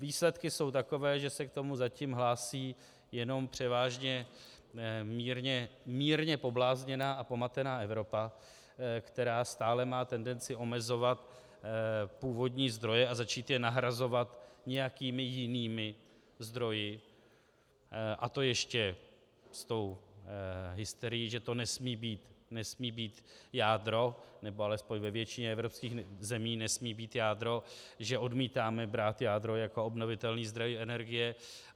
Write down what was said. Výsledky jsou takové, že se k tomu zatím hlásí jenom převážně mírně poblázněná a pomatená Evropa, která stále má tendenci omezovat původní zdroje a začít je nahrazovat nějakými jinými zdroji, a to ještě s tou hysterií, že to nesmí být jádro, nebo alespoň ve většině evropských zemí nesmí být jádro, že odmítáme brát jádro jako obnovitelný zdroj energie.